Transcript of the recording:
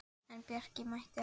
En Bjarki mætti ekki.